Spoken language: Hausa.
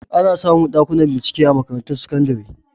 Ana samu Ɗakuna bincike a makarantun sakandire